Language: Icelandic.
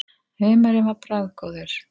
Humarinn var bragðgóður.